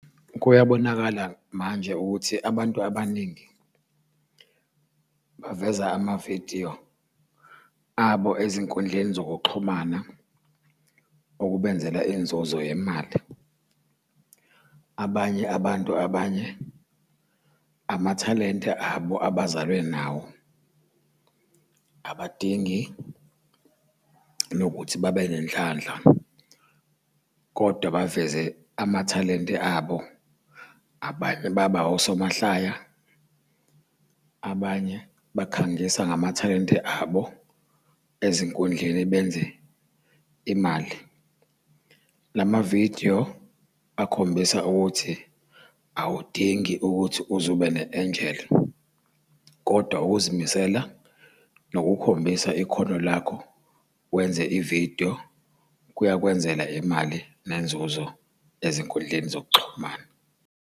Kuyabonakala manje ukuthi abantu abaningi baveza amavidiyo abo ezinkundleni zokuxhumana okubenzela inzuzo yemali. Abanye abantu abanye amathalente abo abazalwe nawo abadingi nokuthi babe nenhlanhla, kodwa baveze amathalente abo. Abanye baba osomahlaya, abanye bakhangisa ngamathalente abo ezinkundleni benze imali. La mavidiyo akhombisa ukuthi awudingi ukuthi uze ube ne-enjeli, kodwa ukuzimisela, nokukhombisa ikhono lakho wenze ividiyo, kuyakwenzela imali nenzuzo ezinkundleni zokuxhumana.